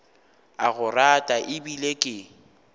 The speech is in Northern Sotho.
a go rata ebile ke